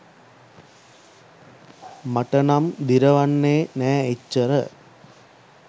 මට නම් දිරවන්නේ නෑ එච්චර.